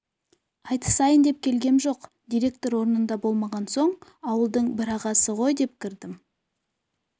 айтысайын деп келгем жоқ директор орнында болмаған соң ауылдың бір ағасы ғой деп кірдім